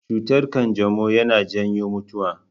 Cutar kanjamau yana janyo mutuwa.